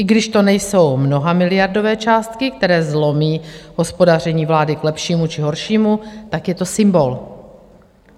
I když to nejsou mnohamiliardové částky, které zlomí hospodaření vlády k lepšímu či horšímu, tak je to symbol.